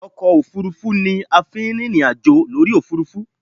Ọkọ òfuurufú ni a fi ń rìnrìn àjò lórí òfuurufú